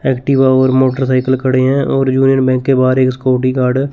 Activa और motorcycle खड़े हैं और जो एक बैंक के बाहार एक सिक्युरिटी गार्ड है।